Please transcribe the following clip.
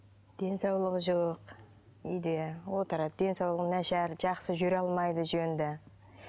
денсаулығы жоқ үйде отырады денсаулығы нашар жақсы жүре алмайды жөнді